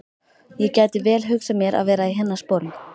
Ég gæti vel hugsað mér að vera í hennar sporum.